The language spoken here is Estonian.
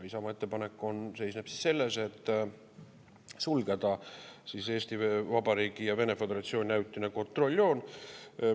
Isamaa ettepanek seisneb selles, et sulgeda Eesti Vabariigi ja Vene föderatsiooni vaheline ajutine kontrolljoon.